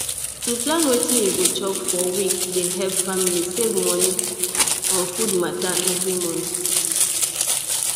to plan wetin you go chop for week dey help family save moni on food matter every month